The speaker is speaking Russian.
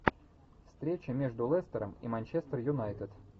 встреча между лестером и манчестер юнайтед